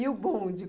E o bonde?